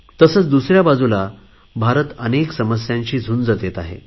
तसेच दुसऱ्या बाजूला भारत अनेक समस्यांशी झुंज देत आहे